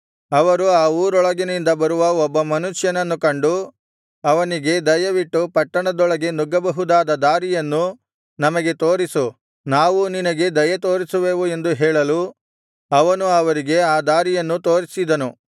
ಅವರು ಆ ಊರೊಳಗಿನಿಂದ ಬರುವ ಒಬ್ಬ ಮನುಷ್ಯನನ್ನು ಕಂಡು ಅವನಿಗೆ ದಯವಿಟ್ಟು ಪಟ್ಟಣದೊಳಗೆ ನುಗ್ಗಬಹುದಾದ ದಾರಿಯನ್ನು ನಮಗೆ ತೋರಿಸು ನಾವೂ ನಿನಗೆ ದಯೆತೋರಿಸುವೆವು ಎಂದು ಹೇಳಲು ಅವನು ಅವರಿಗೆ ಆ ದಾರಿಯನ್ನು ತೋರಿಸಿದನು